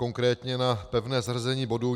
Konkrétně na pevné zařazení bodu.